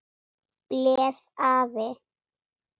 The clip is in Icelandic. blés afi.